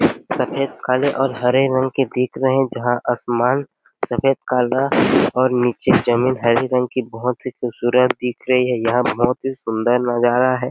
सफेद काला और हरे रंग के दिख रहै है जहाँं आसमान सफेद और काला हो नीचे जमीन हरे रंग की बहुत ही खूबसूरत दिख रही है यहाँ पर सुंदर नज़र आ रहा है।